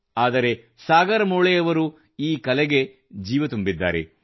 ಆದರೆ ಸಾಗರ್ ಮುಳೆಯವರು ಈ ಕಲೆಗೆ ಜೀವ ತುಂಬಿದ್ದಾರೆ